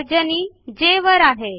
तर्जनी जे वर आहे